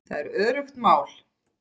Það er öruggt mál.